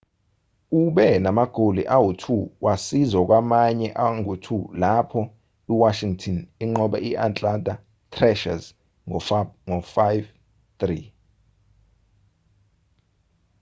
ube namagoli angu-2 wasiza kwamanye angu-2 lapho iwashington inqoba i-atlanta thrashers ngo-5-3